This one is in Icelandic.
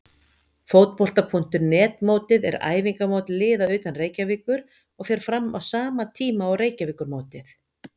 Fótbolta.net mótið er æfingamót liða utan Reykjavíkur og fer fram á sama tíma og Reykjavíkurmótið.